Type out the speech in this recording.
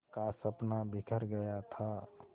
का सपना बिखर गया था